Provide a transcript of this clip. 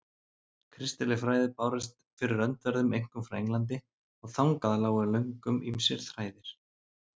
Kristileg fræði bárust fyrir öndverðu einkum frá Englandi, og þangað lágu löngum ýmsir þræðir.